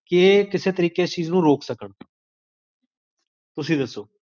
ਸ੍ਦ੍ਫ਼